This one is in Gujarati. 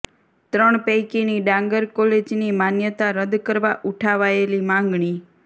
ત્રણ પૈકીની ડાંગર કોલેજની માન્યતા રદ કરવા ઉઠાવાયેલી માંગણી